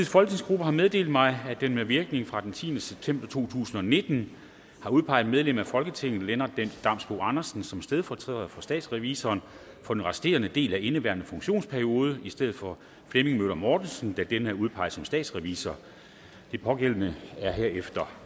folketingsgruppe har meddelt mig at den med virkning fra den tiende september to tusind og nitten har udpeget medlem af folketinget lennart damsbo andersen som stedfortræder for statsrevisorerne for den resterende del af indeværende funktionsperiode i stedet for flemming møller mortensen da denne er udpeget som statsrevisor den pågældende er herefter